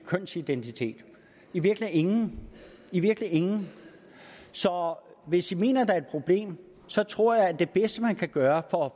kønsidentitet virkelig ingen virkelig ingen så hvis man mener der er et problem tror jeg at det bedste man kan gøre for at